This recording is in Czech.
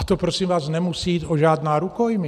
A to prosím vás nemusí jít o žádná rukojmí!